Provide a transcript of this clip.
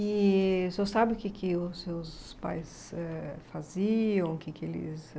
E o senhor sabe o que que os seus pais, eh... faziam? O que que eles